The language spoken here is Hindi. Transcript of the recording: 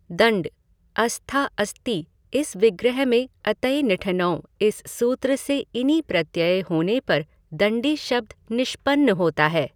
दण्डः अस्था अस्ति इस विग्रह में अतइनिठनौ इस सूत्र से इनि प्रत्यय होने पर दण्डी शब्द निष्पन्न होता है।